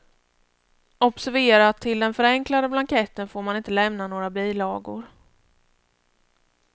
Observera att till den förenklade blanketten får man inte lämna några bilagor.